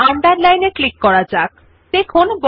underline আইকনের উপর click করলে লেখাটি নিম্নরেখা হবে